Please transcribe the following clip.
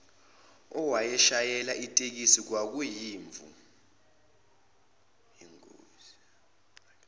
owayeshayela itekisi kwakuyimvu